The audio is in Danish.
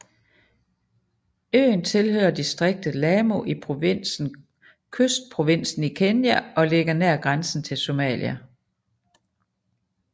Øen tilhører distriktet Lamu i provinsen Kystprovinsen i Kenya og ligger nær grænsen til Somalia